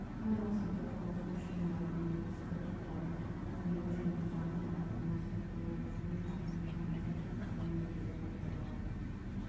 пән мақсаты құрылыс машиналарының негізгі топтарын меңгеру және заман талабына сай қолданылатын шағын механизация құралын меңгеру болып табылады